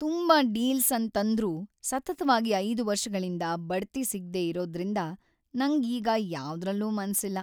ತುಂಬಾ ಡೀಲ್ಸ್ ಅನ್ ತಂದ್ರೂ ಸತತವಾಗಿ ಐದು ವರ್ಷಗಳಿಂದ ಬಡ್ತಿ ಸಿಗ್ದೆ ಇರೋದ್ದ್ರಿಂದ ನಂಗ್ ಈಗ ಯಾವ್ದ್ರಲ್ಲೂ ಮನ್ಸಿಲ್ಲ.